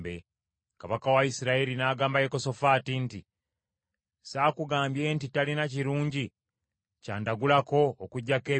Kabaka wa Isirayiri n’agamba Yekosafaati nti, “Sakugambye nti talina kirungi ky’andagulako, okuggyako ebibi?”